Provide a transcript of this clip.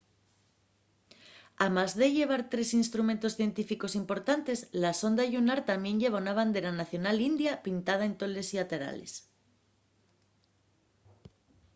amás de llevar tres instrumentos científicos importantes la sonda llunar tamién lleva la bandera nacional india pintada en tolos llaterales